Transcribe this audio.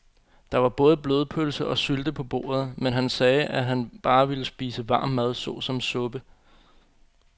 Der var både blodpølse og sylte på bordet, men han sagde, at han bare ville spise varm mad såsom suppe.